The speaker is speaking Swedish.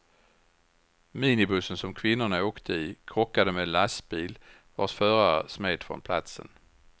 Minibussen som kvinnorna åkte i krockade med en lastbil vars förare smet från platsen.